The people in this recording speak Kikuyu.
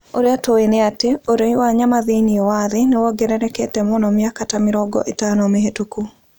Ũrĩa tũĩ nĩ atĩ, ũnyui wa nyama thĩinĩ wa thĩ nĩ wongererekete mũno mĩaka ta mĩrongo ĩtano mĩhĩtũku.